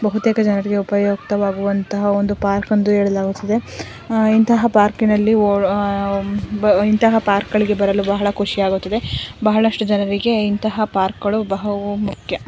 ಬಹುತೇಕ ಜನರಿಗೆ ಉಪಯುಕ್ತವಾಗುವಂತ ಒಂದು ಪಾರ್ಕ್ ಎಂದು ಹೇಳಲಾಗುತ್ತದೆ ಇಂತಹ ಪಾರ್ಕಿನಲ್ಲಿ ಓಡ ಉಹ್ಹ್ ಇಂತಹ ಪಾರ್ಕ್ಗಳಿಗೆ ಬರಲು ತುಂಬಾ ಖುಷಿಯಾಗುತ್ತಿದೆ ಬಹಳಷ್ಟು ಜನರಿಗೆ ಇಂತಹ ಪಾರ್ಕ್ಗಳು ಬಹುಮುಖ್ಯ.